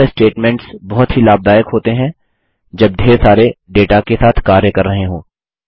यह स्टेटमेंट्स बहुत ही लाभदायक होते हैं जब ढेर सारे डेटा के साथ कार्य कर रहे हों